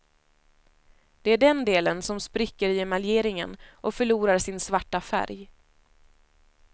Det är den delen som spricker i emaljeringen och förlorar sin svarta färg.